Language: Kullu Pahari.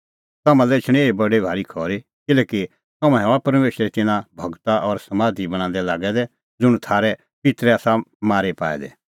तम्हां लै एछणी बडी भारी खरी किल्हैकि तम्हैं हआ परमेशरे तिन्नां गूरा लै समाधी बणांदै लागै दै ज़ुंण थारै पित्तरै आसा मारी पाऐ दै